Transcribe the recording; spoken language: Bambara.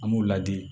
An b'u ladi